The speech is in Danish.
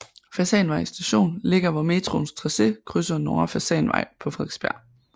Fasanvej Station ligger hvor metroens tracé krydser Nordre Fasanvej på Frederiksberg